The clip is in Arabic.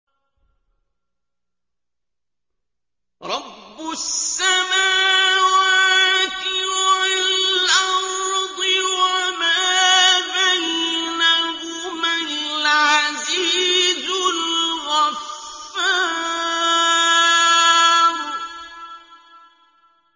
رَبُّ السَّمَاوَاتِ وَالْأَرْضِ وَمَا بَيْنَهُمَا الْعَزِيزُ الْغَفَّارُ